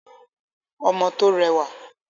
Ọmọ tó rẹwà.